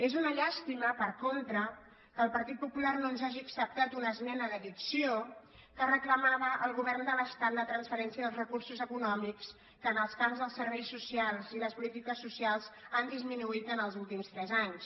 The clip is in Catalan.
és una llàstima per contra que el partit popular no ens hagi acceptat una esmena d’addició que reclama·va al govern de l’estat la transferència dels recursos econòmics que en els camps dels serveis socials i les polítiques socials han disminuït els últims tres anys